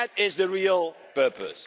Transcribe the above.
That is the real purpose.